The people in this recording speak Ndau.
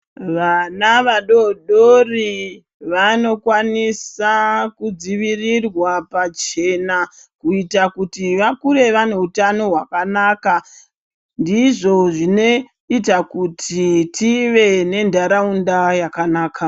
Vana vadodori vanokwanisa kudzivirirwa pachena ,kuita kuti vakure vane utano hwakanaka. Ndizvo zvinoita kuti tive nentaraunda yakanaka.